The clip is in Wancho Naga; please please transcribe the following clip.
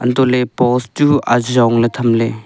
antohley post chu ajong ley tham ley.